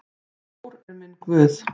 Þór er minn guð.